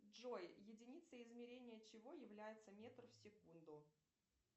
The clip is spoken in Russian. джой единицей измерения чего является метр в секунду